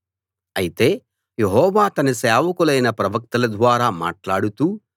అయితే యెహోవా తన సేవకులైన ప్రవక్తల ద్వారా మాట్లాడుతూ